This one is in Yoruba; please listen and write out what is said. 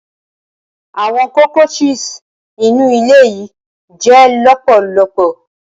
Awọn cockroaches inu ile yii jẹ lọpọlọpọ.